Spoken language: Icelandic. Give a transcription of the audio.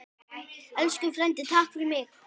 Elsku frændi, takk fyrir mig.